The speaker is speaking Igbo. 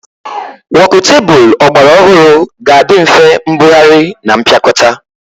Wokutebụl ọgbara ọhụrụ ga-adị nfe mbugharị na mpịakọta